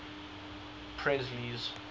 presley's